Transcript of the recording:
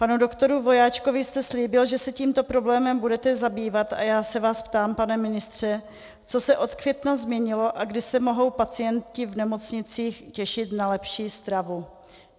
Panu doktoru Vojáčkovi jste slíbil, že se tímto problémem budete zabývat, a já se vás ptám, pane ministře, co se od května změnilo a kdy se mohou pacienti v nemocnicích těšit na lepší stravu.